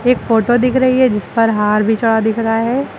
एक फोटो दिख रही है जिस पर हार भी चढ़ा दिख रहा है।